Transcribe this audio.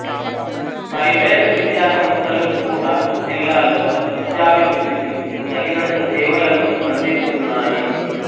private విద్యాసంస్థలు కూడా జిల్లాలో విద్యాభివృద్ధికి తగినంత సేవలను అందిస్తున్నాయి